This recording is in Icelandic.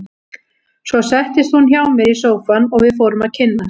Svo settist hún hjá mér í sófann og við fórum að kynnast.